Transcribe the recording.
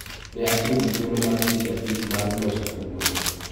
Ne atiyo gi thuolo mar seche abich mar loso tugono.